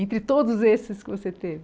Entre todos esses que você teve?